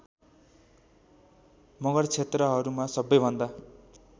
मगर क्षेत्रहरूमा सबैभन्दा